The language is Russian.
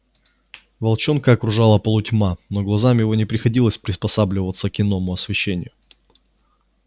волчонка окружала полутьма но глазам его не приходилось приспосабливаться к иному освещению